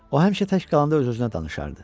O həmişə tək qalanda öz-özünə danışardı.